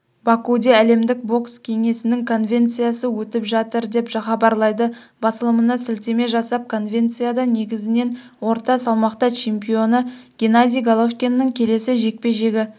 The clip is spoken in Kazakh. бакуде әлемдік бокс кеңесінің конвенциясы өтіп жатыр деп хабарлайды басылымына сілтеме жасап конвенцияда негізінен орта салмақта чемпионы геннадий головкиннің келесі жекпе-жегі